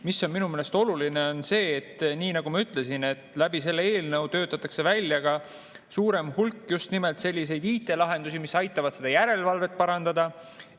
Mis on minu meelest oluline, on see, et nii nagu ma ütlesin, läbi selle eelnõu töötatakse välja ka suurem hulk just nimelt selliseid IT-lahendusi, mis aitavad seda järelevalvet parandada.